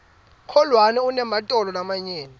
kholwane unematolo lamanyenti